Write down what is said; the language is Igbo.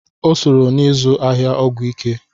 O sooro n'izụ ahịa ọgwụ ike.